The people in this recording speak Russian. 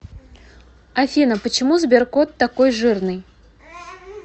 афина почему сберкот такой жирный